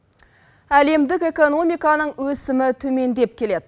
әлемдік экономиканың өсімі төмендеп келеді